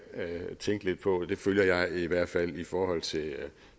tænke lidt på det følger jeg i hvert fald i forhold til